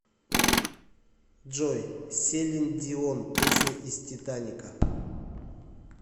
джой селин дион песня из титаника